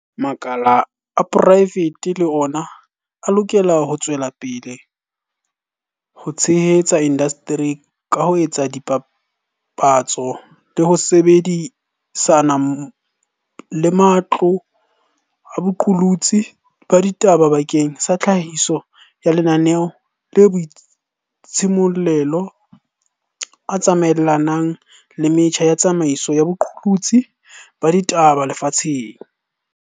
Makala a poraefete le ona a lokela ho tswela pele ho tshehetsa indasteri ka ho etsa dipapatso le ho sebedi sana le matlo a boqolotsi ba ditaba bakeng sa tlhahiso ya mananeo a boitshimollelo a tsamaelanang le metjha ya tsamaiso ya boqolotsi ba ditaba lefatsheng.